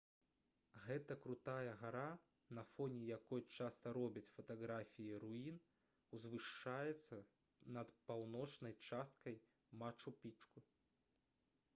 гэта крутая гара на фоне якой часта робяць фатаграфіі руін узвышаецца над паўночнай часткай мачу-пікчу